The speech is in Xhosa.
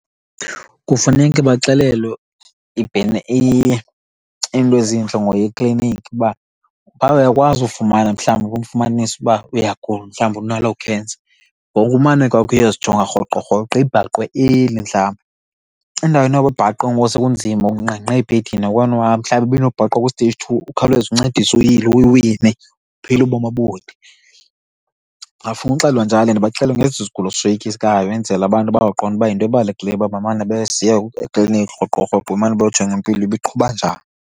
Kufuneke baxelelwe iinto ezintle ngoya ekliniki uba phaa uyakwazi ufumana mhlawumbi ufumanise uba uyagula, mhlawumbi unaloo cancer ngokumane kwakho uyozijonga rhoqo rhoqo ibhaqwe early mhlambe. Endaweni yoba ibhaqwe ngoku sekunzima, ungqengqe ebhedini awukwazi nohamba, mhlawumbi ibinokubhaqwa ku-stage two ukhawuleze uncediswe, uyilwe uyiwine, uphile ubomi obude. Bangafuna uxelelwa njalo ndibaxelele ngesi sigulo soyikisayo enzela abantu bazoqonda uba yinto ebalulekileyo uba bamane besiya ekliniki rhoqo rhoqo bamane beyojonga impilo uba iqhuba njani.